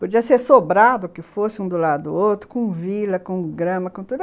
Podia ser sobrado, que fosse um do lado do outro, com vila, com grama, com tudo.